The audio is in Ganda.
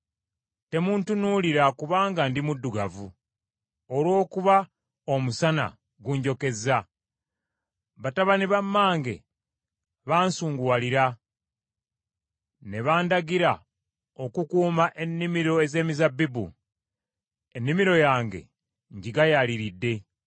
Temuntunuulira kubanga ndi muddugavu, olw’okuba omusana gunjokezza. Batabani ba mmange baansunguwalira; ne bandagira okukuuma ennimiro ez’emizabbibu. Ennimiro yange ngigayaaliridde.